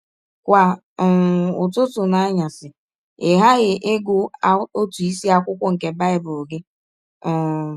Kwa um ụtụtụ na anyasị ị ghaghị ịgụ ọtụ isiakwụkwọ nke Bible gị um. ”